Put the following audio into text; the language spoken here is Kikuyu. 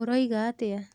ũroiga atĩa?